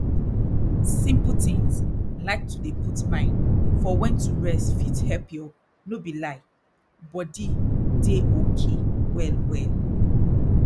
simple tins like to dey put mind for wen to rest fit help your no be lie body dey okay well well